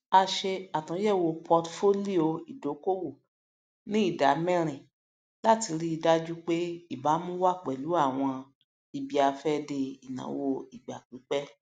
a ṣe àtúnyẹwò portfolio ìdókòwò ní ìdámẹrin láti ríi dájú pé ìbámu wà pẹlú àwọn ibiafẹde ináwó ìgbà pípẹ